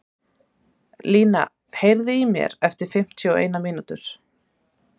Lína, heyrðu í mér eftir fimmtíu og eina mínútur.